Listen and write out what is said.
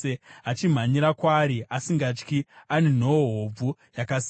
achimhanyira kwaari asingatyi ane nhoo hobvu, yakasimba.